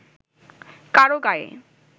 কারও গায়ে